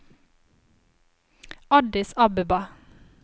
Addis Abeba